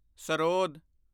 sarod